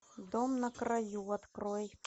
дом на краю открой